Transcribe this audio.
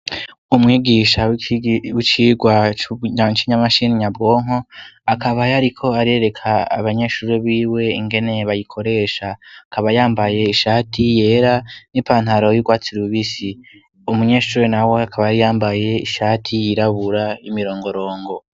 Umwigisha wicigwa cimashini nyabwonko akaba yariko arereka abanyeshuri b'iwe ingene bayikoresha akaba yambaye ishati yera n'ipantaro y'irwatsirubisi umunyeshure na we akaba ari yambaye ishati yirabura y'imirongorongo.